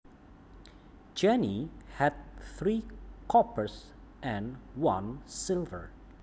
Jenny had three coppers and one silver